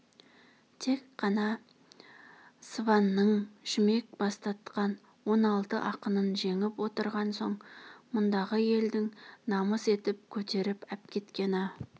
тек қана сыбанның шүмек бастатқан он алты ақынын жеңіп отырған соң мұндағы елдің намыс етіп көтеріп әпкеткені